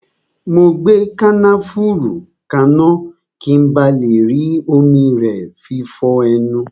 Mo gbé kànáfùrú kaná, ki n ba le rí omi rẹ fi fọ ẹnu